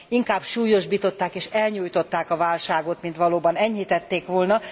Inkább súlyosbították és elnyújtották a válságot, mint valóban enyhítették volna.